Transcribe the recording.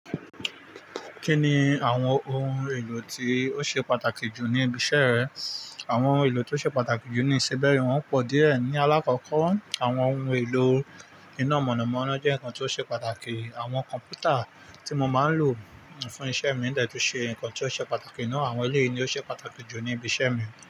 Kí ni àwọn ohun èlò tí ó ṣe pàtàkì jù ní ibi iṣẹ́ rẹ? Àwọn ohun èlò tí ó ṣe pàtàkì jù ní ìṣe bẹ́ẹ́, wọ́n pọ̀ díẹ̀. Ní àlákọ́kọ́, àwọn ohun èlò iná mọ̀nàmọ́ná jẹ́ nǹkan tí ó ṣe pàtàkì. Àwọn kọ̀m̀pútà tí mo ma ń lò fún iṣẹ́ mi dẹ̀ tún ṣe nǹkan tí ó ṣe pàtàkì ná. Àwọn eleyii ní ó ṣe pàtàkì jù ní ibi iṣẹ́ mi.